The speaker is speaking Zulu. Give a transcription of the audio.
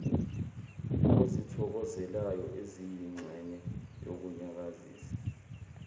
ozithokozelayo eziyingxenye yokunyakazisa